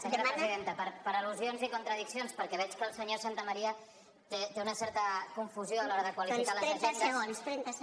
senyora presidenta per al·lusions i contradiccions perquè veig que el senyor santamaría té una certa confusió a l’hora de qualificar les agendes